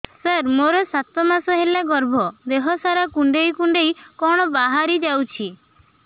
ସାର ମୋର ସାତ ମାସ ହେଲା ଗର୍ଭ ଦେହ ସାରା କୁଂଡେଇ କୁଂଡେଇ କଣ ବାହାରି ଯାଉଛି